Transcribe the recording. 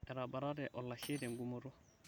etabatate olashe tegumoto